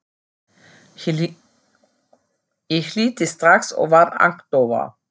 Ég hlýddi strax og varð agndofa.